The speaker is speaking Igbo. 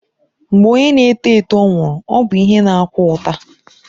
Mgbe onye na-eto eto nwụrụ, ọ bụ ihe na-akwa ụta